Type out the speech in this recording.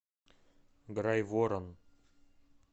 грайворон